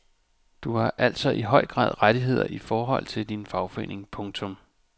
Du har altså i høj grad rettigheder i forhold til din fagforening. punktum